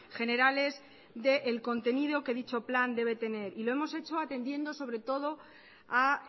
generales del contenido que dicho plan debe tener y lo hemos hecho atendiendo sobre todo a